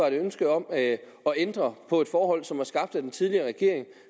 et ønske om at ændre på et forhold som blev skabt af den tidligere regering og